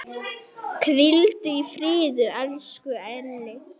Hvíldu í friði, elsku Elli.